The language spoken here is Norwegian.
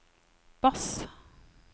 bass